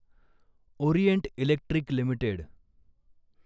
Orient Electric limited